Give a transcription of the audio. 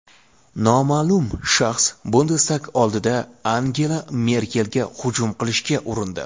Noma’lum shaxs Bundestag oldida Angela Merkelga hujum qilishga urindi.